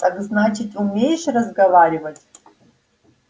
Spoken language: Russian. так значит умеешь разговаривать